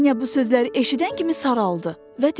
Vanya bu sözləri eşidən kimi saraldı və dedi: